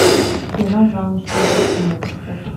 кино замуж любой ценой поставь